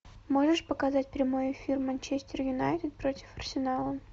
можешь показать прямой эфир манчестер юнайтед против арсенала